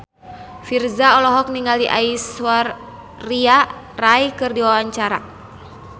Virzha olohok ningali Aishwarya Rai keur diwawancara